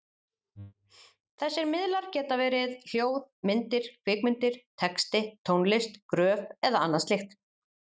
Þessir miðlar geta verið hljóð, myndir, kvikmyndir, texti, tónlist, gröf eða annað slíkt.